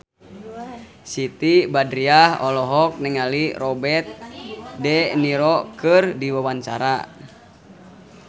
Siti Badriah olohok ningali Robert de Niro keur diwawancara